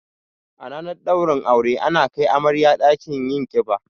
A ranar ɗaurin aure ana kai amarya ɗakin yin ƙiba